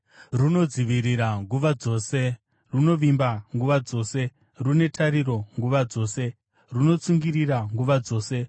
Runodzivirira nguva dzose, runovimba nguva dzose, rune tariro nguva dzose, runotsungirira nguva dzose.